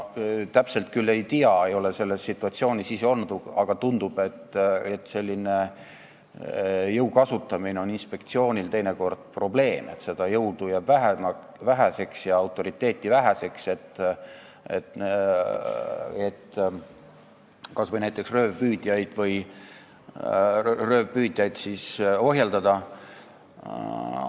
Täpselt küll ei tea, ei ole selles situatsioonis ise olnud, aga tundub, et jõu kasutamine on inspektsioonile teinekord probleem, seda jõudu ja autoriteeti jääb väheseks, et kas või näiteks röövpüüdjaid ohjeldada.